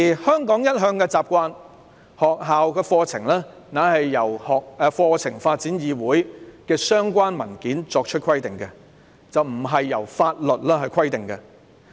香港一向的習慣是，學校課程是由香港課程發展議會的相關文件規定，並非由法律規定。